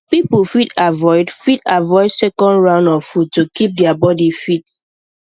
people fit avoid fit avoid second round of food to keep their body fit